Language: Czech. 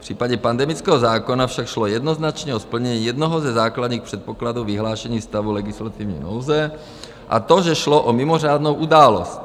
V případě pandemického zákona však šlo jednoznačně o splnění jednoho ze základních předpokladů vyhlášení stavu legislativní nouze, a to, že šlo o mimořádnou událost.